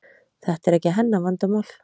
Þetta er ekki hennar vandamál.